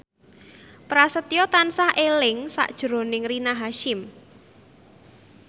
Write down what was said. Prasetyo tansah eling sakjroning Rina Hasyim